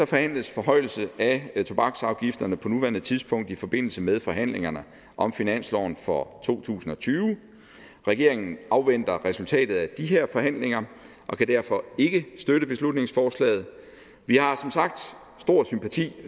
forhandles forhøjelse af tobaksafgifterne på nuværende tidspunkt i forbindelse med forhandlingerne om finansloven for to tusind og tyve regeringen afventer resultatet af de her forhandlinger og kan derfor ikke støtte beslutningsforslaget vi har som sagt stor sympati